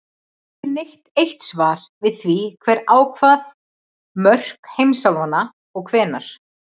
Ekki er til neitt eitt svar við því hver ákvað mörk heimsálfanna og hvenær.